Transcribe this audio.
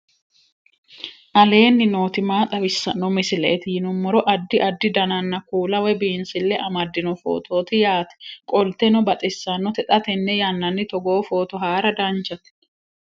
aleenni nooti maa xawisanno misileeti yinummoro addi addi dananna kuula woy biinsille amaddino footooti yaate qoltenno baxissannote xa tenne yannanni togoo footo haara danvchate